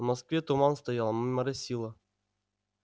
в москве туман стоял моросило